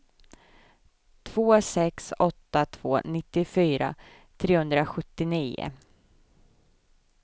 två sex åtta två nittiofyra trehundrasjuttionio